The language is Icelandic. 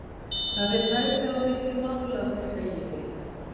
Það fer tæplega á milli mála hvort eigi við.